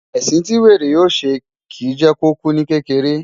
Ẹ̀sìn tí wèrè yóò ṣe, kìí jẹ́ kó kú ní kékeré.